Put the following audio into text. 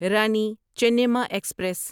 Rani Chennamma express